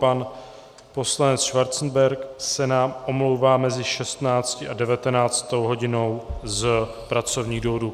Pan poslanec Schwarzenberg se nám omlouvá mezi 16. a 19. hodinou z pracovních důvodů.